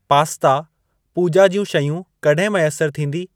Pasta, पूजा॒ ज्यूं शयूं कॾहिं मैसर थींदी?